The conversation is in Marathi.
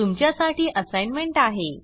तुमच्या साठी असाइनमेंट आहे